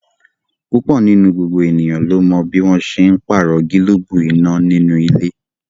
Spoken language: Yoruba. Púpọ̀ nínú gbogbo ènìyàn ló mọ bí wọ́n n ṣe pàrọ̀ gílóbù iná nínú ilé